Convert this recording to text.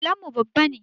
Allon mu babba ne